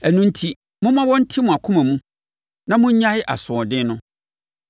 Ɛno enti, momma wɔnte mo akoma mu na monnyae asoɔden no.